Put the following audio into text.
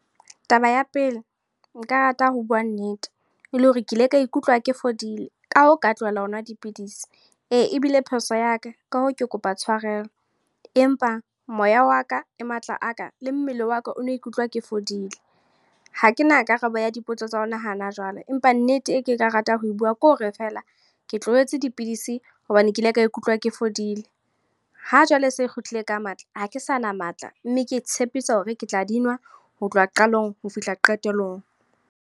Taba ya pele, nka rata ho bua nnete. E le hore ke ile ka ikutlwa ke fodile. Ka hoo ka tlohela ho nwa dipidisi. Ee, ebile phoso ya ka. Ka hoo, ke kopa tshwarelo. Empa moya wa ka, le matla a ka, le mmele wa ka, o no ikutlwa ke fodile. Hakena karabo ya dipotso tsa hona hana jwale. Empa nnete ko ke ka rata ho bua kore feela, ke tlohetse dipidisi hobane ke ile ka ikutlwa ke fodile. Ha jwale e se e kgutlile ka matla. Ha ke sa na matla, mme ke tshepisa hore ke tla di nwa ho tloha qalong ho fihla qetellong.